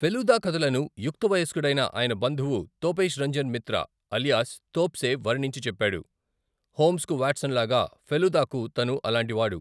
ఫెలూదా కథలను యుక్త వయస్కుడైన ఆయన బంధువు తోపేష్ రంజన్ మిత్రా అలియాస్ తోప్సే వర్ణించి చెప్పాడు, హోమ్స్కు వాట్సన్ లాగా ఫెలూదాకు తను అలాంటి వాడు.